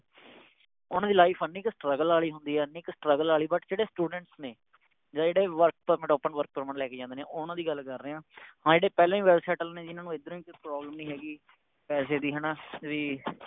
ਓਹਨਾ ਦੀ Life ਇੰਨੀ ਕ Struggle ਵਾਲੀ ਹੁੰਦੀ ਆ ਇੰਨੀ ਕ Struggle ਆਲੀ But ਜਿਹੜੇ Students ਨੇ ਜਿਹੜੇ Work permit open work permit ਲੈ ਕੇ ਜਾਂਦੇ ਨੇ ਓਹਨਾ ਦੀ ਗੱਲ ਕਰ ਰਿਹਾ ਆ ਹਾਂ ਜਿਹੜੇ ਪਹਿਲੇ ਹੀ Well settled ਨੇ ਜਿਨ੍ਹਾਂ ਨੂੰ ਏਧਰੋਂ ਹੀ ਕੋਈ Problem ਨਹੀਂ ਹੇਗੀ ਪੈਸੇ ਦੀ ਹੈ ਨਾ ਵੀ